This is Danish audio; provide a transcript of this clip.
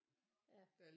Ja